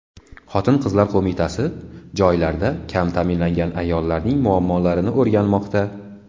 Xotin-qizlar qo‘mitasi joylarda kam ta’minlangan ayollarning muammolarini o‘rganmoqda.